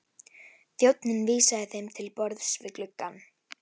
Þjónninn vísaði þeim til borðs við gluggann.